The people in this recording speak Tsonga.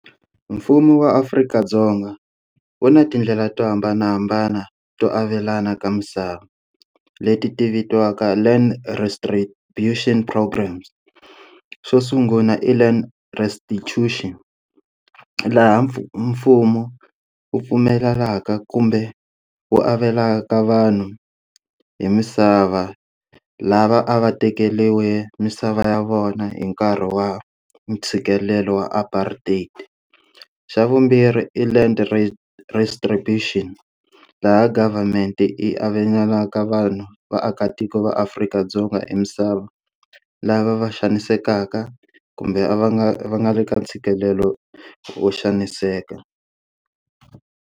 Mfumo wa Afrika-Dzonga u na tindlela to hambanahambana to avelana ka misava leti ti vitiwaka land retribution programs xo sungula i land restitution laha mfumo u pfumelelaka kumbe u avelaka vanhu hi misava lava a va tekeriwe misava ya vona hi nkarhi wa ntshikelelo wa apartheid xa vumbirhi i land restribution laha government i avelanaka vanhu vaakatiko va Afrika-Dzonga i misava lava va xanisekaka kumbe a va nga va nga le ka ntshikelelo ho xaniseka.